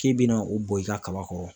K'i bɛna o bɔn i ka kaba kɔrɔ.